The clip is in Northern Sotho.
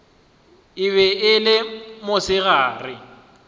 e be e le mosegare